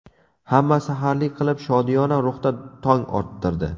Hamma saharlik qilib, shodiyona ruhda tong ottirdi.